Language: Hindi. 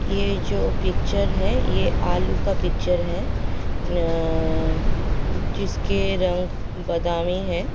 यह जो पिक्चर है यह आलू का पिक्चर है अ जिसके रंग बदामी है।